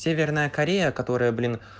северная корея которая блин